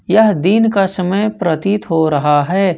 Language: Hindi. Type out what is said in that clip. यह दिन का समय प्रतीत हो रहा है।